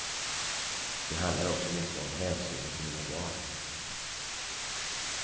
Det handlar också mycket om hänsynen till mina barn.